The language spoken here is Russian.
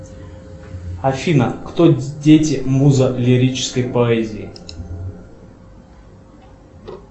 афина кто дети муза лирической поэзии